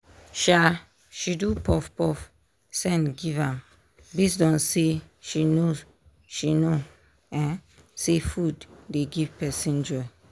um she do puff puff send give am based on say she know she know um say food dey give person joy.